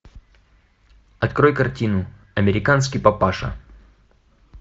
открой картину американский папаша